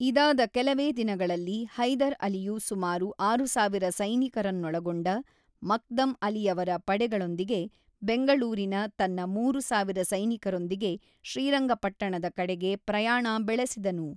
ಇದಾದ ಕೆಲವೇ ದಿನಗಳಲ್ಲಿ ಹೈದರ್ ಅಲಿಯು ಸುಮಾರು ಆರು ಸಾವಿರ ಸೈನಿಕರನ್ನೊಳಗೊಂಡ ಮಕ್ದಮ್ ಅಲಿಯವರ ಪಡೆಗಳೊಂದಿಗೆ, ಬೆಂಗಳೂರಿನ ತನ್ನ ಮೂರು ಸಾವಿರ ಸೈನಿಕರೊಂದಿಗೆ, ಶ್ರಿರಂಗಪಟ್ಟಣದ ಕಡೆಗೆ ಪ್ರಯಾಣ ಬೆಳೆಸಿದನು.